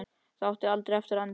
Það átti aldrei eftir að enda.